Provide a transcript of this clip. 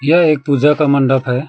यह एक पूजा का मंडप है।